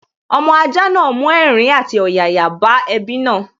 Ọmọ ajá náà mú ẹ̀rín àti ọ̀yàyà bá ẹbí náà